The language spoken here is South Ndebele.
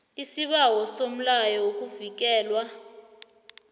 isibawo somlayo wokuvikelwa